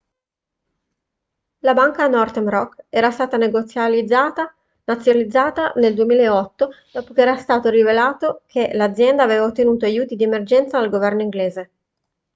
la banca northern rock era stata nazionalizzata nel 2008 dopo che era stato rivelato che l'azienda aveva ottenuto aiuti di emergenza dal governo inglese